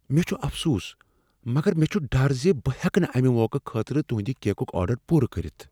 مےٚ چھ افسوس، مگر مےٚ چھ ڈر ز بہٕ ہؠکہ نہٕ امہ موقعہٕ خٲطرٕ تہنٛدِ کیکُک آرڈر پوٗرٕ کٔرتھ۔